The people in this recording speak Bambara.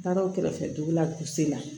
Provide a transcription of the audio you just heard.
Taara o kɛrɛfɛ dugu la k'u se la